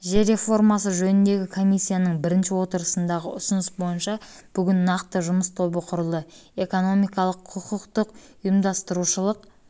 жер реформасы жөніндегі комиссияның бірінші отырысындағы ұсыныс бойынша бүгін нақты жұмыс тобы құрылды экономикалық құқықтық ұйымдастырушылық